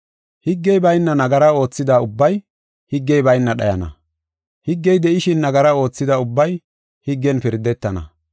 Higgey bayna nagara oothida ubbay higgey bayna dhayana. Higgey de7ishin, nagara oothida ubbay higgen pirdetana.